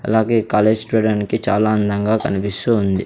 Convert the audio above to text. అలాగే college student కి చాలా అందంగా కనిపిస్తూ ఉంది.